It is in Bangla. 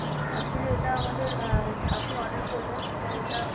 actually এটা আমাদের, আ~ আপনি order করলেন এরপর এটা